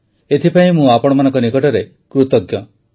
ଏଥିପାଇଁ ମୁଁ ଆପଣମାନଙ୍କ ନିକଟରେ କୃତଜ୍ଞ